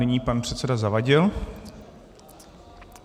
Nyní pan předseda Zavadil.